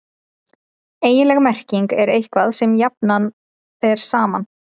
eiginleg merking er „eitthvað sem jafnað er saman“